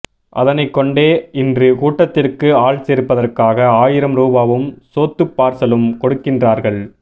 அதனைக்கொண்டே இன்று கூட்டத்திற்கு ஆள் சேர்ப்பதற்காக ஆயிரம் ரூபாவும் சோத்துப்பார்சலும் கொடுக்கின்றார்கள்